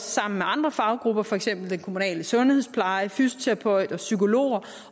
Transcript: sammen med andre faggrupper for eksempel den kommunale sundhedspleje fysioterapeuter og psykologer